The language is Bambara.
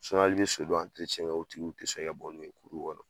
i bɛ so dɔ kɛ o tigiw tɛ sɔn e ka bɔ n'u ye kɔnɔ.